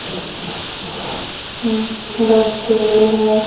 Dustbin है।